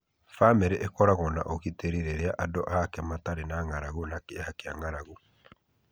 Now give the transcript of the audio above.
Bamĩrĩ ĩkoragũo na ũgitĩri wa irio rĩrĩa andũ ake matarĩ na ng'aragu na kĩeha kĩa ng'aragu.